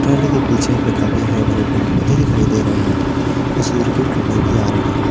टली के पीछे में हरी भारी पेड़ पौधे दिखाई दे रहे हैं और सूर्य के किरण भी आ रही है।